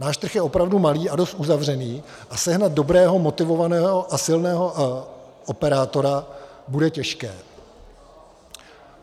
Náš trh je opravdu malý a dost uzavřený a sehnat dobrého, motivovaného a silného operátora bude těžké.